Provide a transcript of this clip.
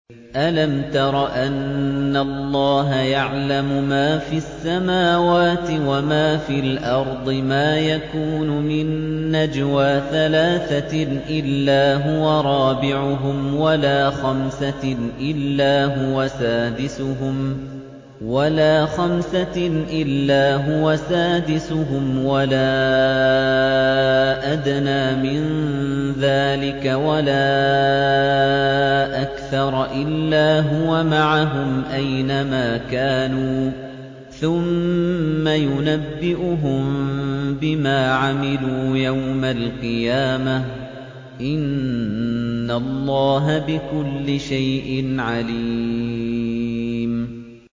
أَلَمْ تَرَ أَنَّ اللَّهَ يَعْلَمُ مَا فِي السَّمَاوَاتِ وَمَا فِي الْأَرْضِ ۖ مَا يَكُونُ مِن نَّجْوَىٰ ثَلَاثَةٍ إِلَّا هُوَ رَابِعُهُمْ وَلَا خَمْسَةٍ إِلَّا هُوَ سَادِسُهُمْ وَلَا أَدْنَىٰ مِن ذَٰلِكَ وَلَا أَكْثَرَ إِلَّا هُوَ مَعَهُمْ أَيْنَ مَا كَانُوا ۖ ثُمَّ يُنَبِّئُهُم بِمَا عَمِلُوا يَوْمَ الْقِيَامَةِ ۚ إِنَّ اللَّهَ بِكُلِّ شَيْءٍ عَلِيمٌ